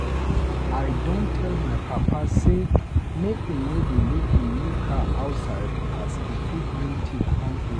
I don tell my papa sey make e no dey leave him new car outside as e fit bring tiff com here.